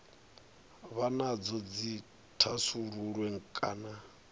vha nadzo dzi thasululwe kana